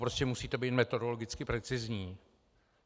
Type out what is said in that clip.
Prostě musíte být metodologicky precizní.